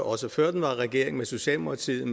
også før den var regering med socialdemokratiet